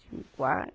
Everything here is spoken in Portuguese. Tinha um quarto.